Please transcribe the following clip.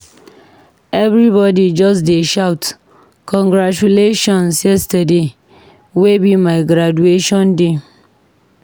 Everybodi just dey shout congratulations yesterday wey be my graduation day.